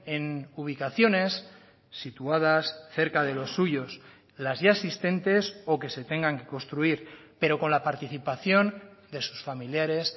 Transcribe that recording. en ubicaciones situadas cerca de los suyos las ya existentes o que se tengan que construir pero con la participación de sus familiares